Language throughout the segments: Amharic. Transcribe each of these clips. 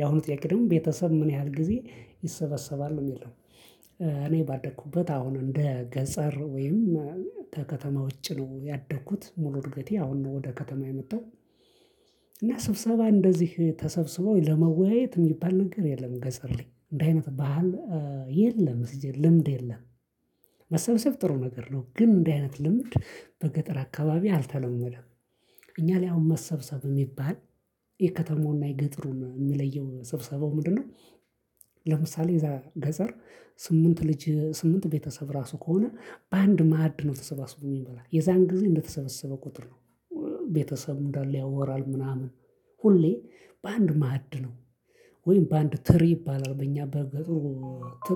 ያሁኑ ጥያቄ ደግሞ ቤተሰብ ምን ያህል ጊዜ ይሰበሰባል ነው የሚለው? እኔ ባደኩበት አሁን እንደ ገጠር ወይም ከከተማ ውጪ ነው ያደኩት ሙሉ እድገቴ አሁን ነው ወደ ከተማ የመጣሁ። እና ስብሰባ እንደዚህ ተሰብስበው ለመወያየት የሚባል ነገር የለም። ገጠር ላይ እንዲህ አይነት ባህል የለም። ሲጀመር ልምድ የለም። መሰብሰብ ጥሩ ነገር ነው ግን እንዲህ አይነት ልምድ በገጠር አካባቢ አልተለመደም። እኛ ላይ አሁን መሰብሰብ የሚባል የከተማውና የገጠሩን የሚለየው ስብሰባው ምንድነው? ለምሳሌ እዛ ገጠር ስምንት ልጅ ስምንት ቤተሰብ ራሱ ከሆነ በአንድ ማዕድ ነው ተሰባስቦ የሚበላ የዛን ጊዜ እንደተሰበሰበ ቁጥር ነው። ቤተሰብ እንዳለ ያወራል ምናምን ሁሌ በአንድ ማዕድ ነው። ወይም በአንድ ትሪ ይባላል በእኛ በገጠሩ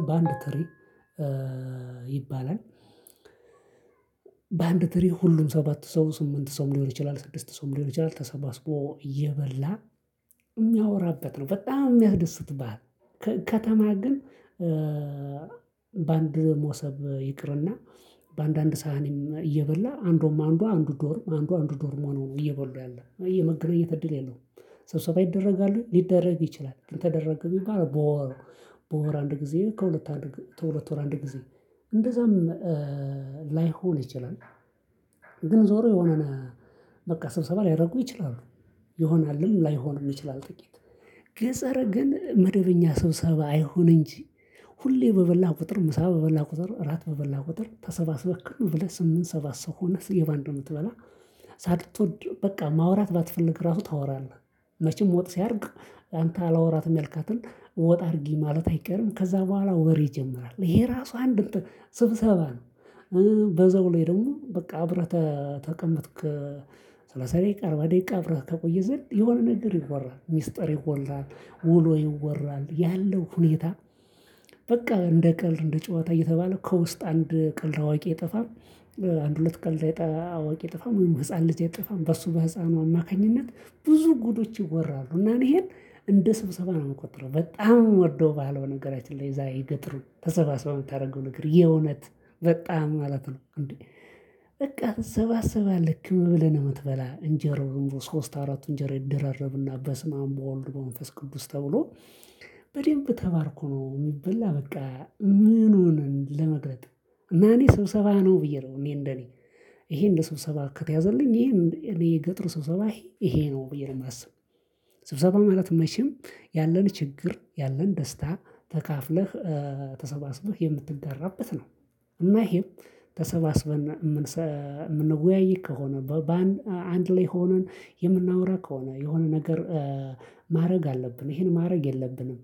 በአንድ ትሪ ይባላል። በአንድ ትሪ ሁሉም ሰባት ሰው ስምንት ሰው ሊሆን ይችላል ስድስት ሰው ሊሆን ይችላል ተሰባስቦ እየበላ እሚያወራበት ነው በጣም የሚያስደስት ባህል። ከተማ ግን በአንድ ሞሰብ ይቅርና በአንዳንድ ሳህኒም እየበላ አንዱም አንዱ አንዱ ዶርም አንዱ አንዱ ዶርም ሆኖ ነው እየበሉ ያለው የመገናኛት እድል የለውም። ሰብሰባ ያደርጋሉ ሊደረግ ይችላል ግን ተደረገ ቢባል በወር በወር አንድ ጊዜ ከሁለት ወር አንድ ጊዜ። እንደዛም ላይሆን ይችላል። ግን ዞሮ የሆነ በቃ ስብሰባ ሊያደርጉ ይችላሉ። ይሆናልም ላይሆን ይችላል። ጥቂት ገጠር ግን መደበኛ ሰብሰባ አይሁን እንጂ ሁሌም በበላህ ቁጥር ምሳ በበላህ ቁጥር እራት በበላህ ቁጥር ተሰባስበህ ዝም ብለህ ስምንት ሰባት ሰው ሁነህ ሁሌም በአንድ ነው የምትበላ። ሳትወድ በቃ ማውራት ባትፈልግ ራሱ ታወራለህ። መቼም ወጥ ሲያልቅ አንተ አላወራትም ያልካትን ወጥ አድርጊ ማለትህ አይቀርም ከዛ በኋላ ወሬ ይጀምራል ይሄ ራሱ አንድ ስብሰባ ነው። በዛው ላይ ደግሞ በቃ አብረህ ተቀምጥክ ሰላሳ አርባ ደቂቃ አብረህ ከቆየህ ዘንድ የሆነ ነገር ይወራል ሚስጥር ይወራል ውሎ ይወራል ያለው ሁኔታ። በቃ እንደ ቀልድ እንደ ጨዋታ እየተባለ ከውስጥ አንድ ቀልድ አዋቂ አይጠፋም። አንድ ሁለት ቀልድ አዋቂ አይጠፋም ወይም ህፃን ልጅ እጠፋም በሱ በህፃኑ አማካኝነት ብዙ ጉዶች ይወራሉ። እና ይሄን እንደ ስብሰባ ነው የምቆጥረው። በጣም የምወደው ባህል በነገራችን ላይ እዛ የገጠሩ ተሰባስበህ የምታደርገው ነገር የእውነት በጣም ማለት ነው እንዴ? በቃ ትሰባሰባለህ ክብ ብለህ ነው የምትበላ እንጀራው ዝምብሎ ሶስት አራቱ እንጀራ ይደራረብና በስመ አብ በወልድ በመንፈስ ቅዱስ ተብሎ። በደንብ ተባርኮ ነው የሚበላ በቃ ምን ሆነን ለመቅረጥ? እኔ ስብሰባ ነው ብዬ ነው እኔ እንደኔ ይሄ እንደ ሰብሰባዬ ከተያዘልኝ ይሄ እኔ የገጠር ስብሰባ ይሄ ነው ብዬ ነው የማስበው። ስብሰባ ማለት መቼም ያለን ችግር ያለን ደስታ ተካፍለህ ተሰባስበህ የምትጋራበት ነው። እና ይሄም ተሰባስበን የምንወያይ ከሆነ አንድ ላይ ሆነን የምናወራ ከሆነ የሆነ ነገር ማድረግ አለብን ይሄን ማድረግ የለብንም።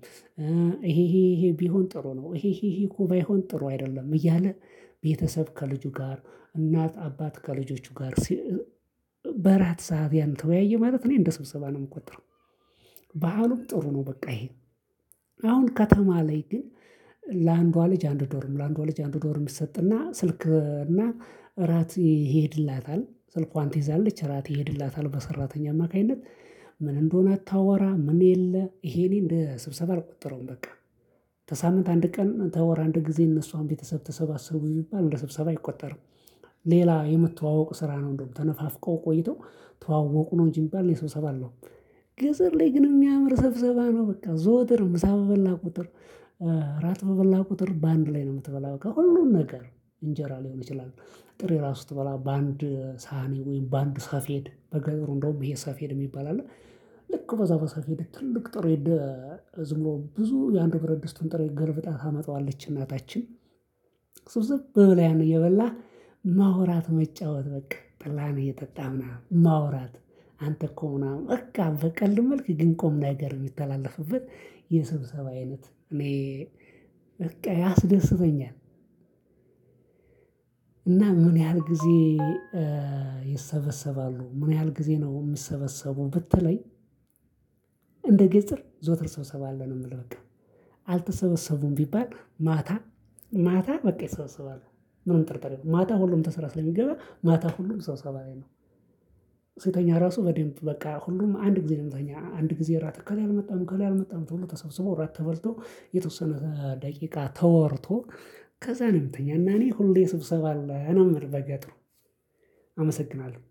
ይሄ ይሄ ይሄ ቢሆን ጥሩ ነው ይሄ ይሄ እኮ ባይሆን ጥሩ አይደለም እያለ። ቤተሰብ ከልጁ ጋር እናት አባት ከልጆቹ ጋር በእራት ሰዓት ያን ተወያየ ማለት እኔ እንደ ስብሰባ ነው የምቆጥረው። ባህሉም ጥሩ ነው። በቃ ይሄ አሁን ከተማ ላይ ግን ለአንዷ ልጅ አንድ ዶርም ለአንዷ ልጅ አንድ ዶርም ይሰጥና ስልክና እራት ይሄድላታል ስልኳን ትይዛለች እራት ይሄድላታል በሰራተኛ አማካኝነት። ምን እንደሆነ አታወራ ምን የለ ይሄ እኔ እንደ ስብሰባ አልቆጠረውም በቃ። ከሳምንት አንድ ቀን ከወር አንድ ጊዜ እነሱ አንድ ቤተሰብ ተሰባሰቡ ይባል እንደ ሰብሰባ አይቆጠርም። ሌላ የመተዋወቅ ስራ ነው እንደውም ተነፋፍቀው ቆይተው ተዋወቁ ነው እንጂ የሚባል እኔ ስብሰባ አልለውም። ገጠር ላይ ግን የሚያምር ሰብሰባ ነው በቃ ዘወትር ምሳ በበላህ ቁጥር ራት በበላ ቁጥር በአንድ ላይ ነው የምትበላ ከሁሉም ነገር እንጀራ ሊሆን ይችላል። ጥሬ ራሱ ስትበላ በአንድ ሳህኒ ወይም በአንድ ሰፌድ በገጠሩ እንደውም ይሄ ሰፌድ የሚባል አለ። ልክ በዛ በሰፌድ ትልቅ ጥሬ ዝም ብሎ ብዙ የአንዱን ብረት ድስቱን ጥሬ ገልብጣ ታመጣዋለች እናታችን። ስብስብ ብለህ እየበላህ ማውራት መጫወት በቃ ጠላህን እየጠጣህን ማውራት። አንተ እኮ ምናምን በቃ በቀልድን መልክ ግን ቁም ነገር የሚተላለፍበት። የስብሰባ አይነት እኔ በቃ ያስደስተኛል። እና በምን ያህል ጊዜ ይሰበሰባሉ ምን ያህል ጊዜ ነው የሚሰበሰቡ ብትለኝ። እንደ ገጠር ዘወትር ስብሰባ አለ ነው የምልህ በቃ። አልተሰበሰቡም ቢባል ማታ ማታ በቃ ይሰበሰባሉ። ምንም ጥርጥር የለውም ማታ ሁሉም ከስራ ስለሚገባ ማታ ሁሉም ስብሰባ ላይ ነው። ስንተኛ ራሱ በደንብ በቃ ሁሉም አንድ ጊዜ የሚተኛ አንድ ጊዜ እራት እከሌ አልመጣም እከሌ አልመጣም ተብሎ ተሰብስቦ እራት ተበልቶ የተወሰነ ደቂቃ ተወርቶ። ከዛ ነው የምንተኛው እና እኔ ሁሌ ስብሰባ አለ ነው የምለው በገጠሩ። አመሰግናለሁ